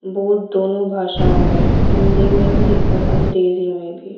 Board दोनों भाषाओं में है हिंदी में भी और अंग्रेजी में भी।